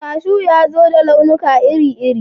Kashu ya zo da launuka iri-iri